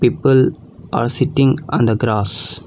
People are sitting on the grass.